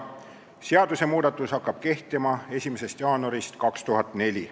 Seadusemuudatus hakkab kehtima 1. jaanuarist 2004.